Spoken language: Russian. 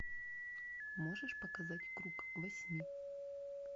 можешь показать круг восьми